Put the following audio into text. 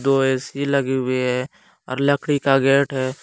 दो ए_सी लगी हुई है और लकड़ी का गेट है।